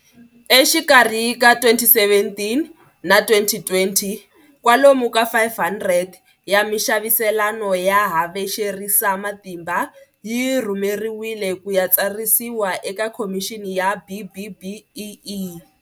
Exikarhi ka 2017 na 2020, kwalomu ka 500 ya mixaviselano ya havexerisamatimba yi rhumeriwile ku ya tsarisiwa eka Khomixini ya BBBEE.